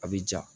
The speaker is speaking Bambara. A bɛ ja